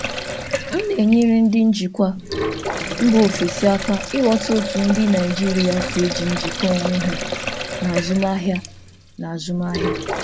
Ana m enyere ndị njikwa si mba ọzọ aka ịghọta ka ndị Naịjirịa si eji mmekọrịta onwe kpọrọ ihe n'ahịa.